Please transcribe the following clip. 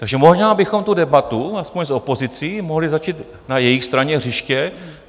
Takže možná bychom tu debatu, aspoň s opozicí, mohli začít na jejich straně hřiště.